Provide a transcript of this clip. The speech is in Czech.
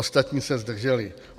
Ostatní se zdrželi.